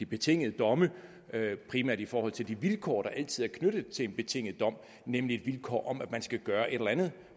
betingede domme primært i forhold til de vilkår der altid er knyttet til en betinget dom nemlig vilkår om at man skal gøre et eller andet